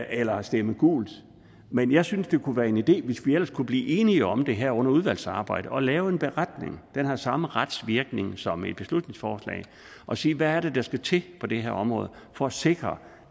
eller stemme gult men jeg synes at det kunne være en idé hvis vi ellers kunne blive enige om det her under udvalgsarbejdet at lave en beretning den har samme retsvirkning som et beslutningsforslag og sige hvad det er der skal til på det her område for at sikre